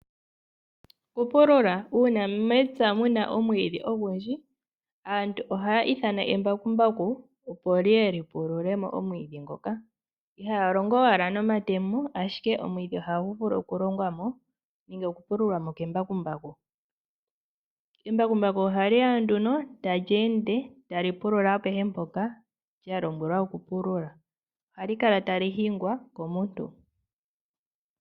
Okupulula Uuna mepya mu na omwiidhi ogundji aantu ohaya ithana embakumbaku, opo li ye li pulule mo omwiidhi ngoka ihaya longo owala nomatemo, ashike omwiidhi ohagu vulu okulongwa mo nenge okupululwa kembakumbaku. Embakumbaku ohali ya nduno tali ende tali pulula apehe mpoka lya lombwelwa li pulule. Ohali kala tali hingwa komuntu.